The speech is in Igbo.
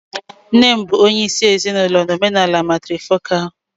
Nne bụ onye isi ezinụlọ na omenala matrifocal